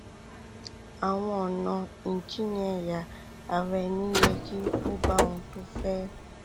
àwọn ọnà ìjìnnìẹyà ara ẹni yẹ kí ó bá ohun tó o fẹ